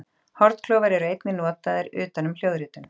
hornklofar eru einnig notaðir utan um hljóðritun